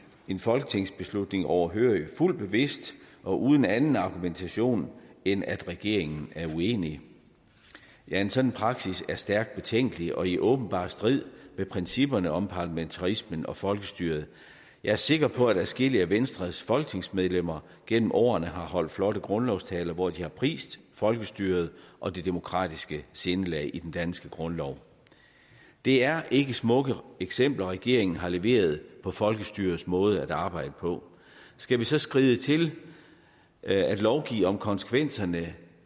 en folketingsbeslutning overhørig fuldt bevidst og uden anden argumentation end at regeringen er uenig ja en sådan praksis er stærkt betænkelig og i åbenbar strid med principperne om parlamentarismen og folkestyret jeg er sikker på at adskillige af venstres folketingsmedlemmer gennem årene har holdt flotte grundlovstaler hvor de har prist folkestyret og det demokratiske sindelag i den danske grundlov det er ikke smukke eksempler regeringen har leveret på folkestyrets måde at arbejde på skal vi så skride til at lovgive om konsekvenserne